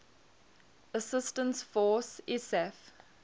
assistance force isaf